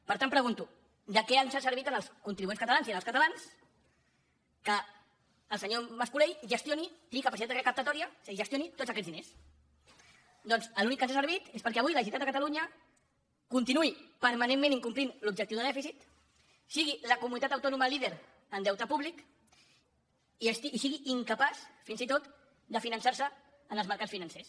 per tant pregunto de què ens ha servit als contribuents catalans i als catalans que el senyor mas colell gestioni tingui capacitat recaptatòria és a dir gestioni tots aquests diners doncs en l’únic que ens ha servit és perquè avui la generalitat de catalunya continuï permanentment incomplint l’objectiu de dèficit sigui la comunitat autònoma líder en deute públic i sigui incapaç fins i tot de finançar se en els mercats financers